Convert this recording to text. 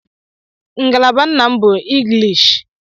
Ngalaba nna m bu inglishi